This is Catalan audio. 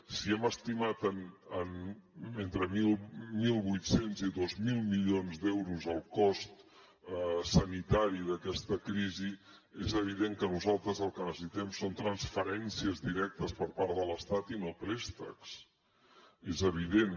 si hem estimat en entre mil vuit cents i dos mil milions d’euros el cost sanitari d’aquesta crisi és evident que nosaltres el que necessitem són transferències directes per part de l’estat i no préstecs és evident